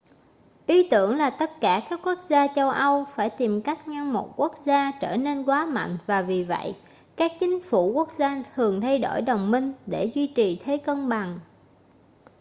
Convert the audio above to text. ý tưởng là tất cả các quốc gia châu âu phải tìm cách ngăn một quốc gia trở nên quá mạnh và vì vậy các chính phủ quốc gia thường thay đổi đồng minh để duy trì thế cân bằng